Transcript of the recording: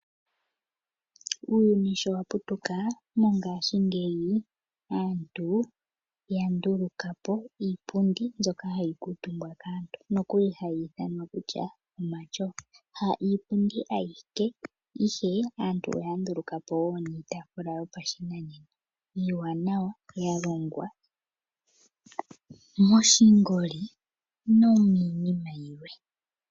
Uuyuni sho wa putuka, mongashingeyi aantu ya nduluka po iipundi mbyoka hayi kuutumbwa kaantu mbyoka hayi ithanwa omatyofa. Ha iipundi ayike, ihe aantu oya nduluka po wo niitaafula yopashinanena iiwanawa, ya longwa moshingoli nomiinima yilwe.